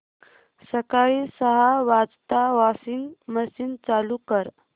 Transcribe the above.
सकाळी सहा वाजता वॉशिंग मशीन चालू कर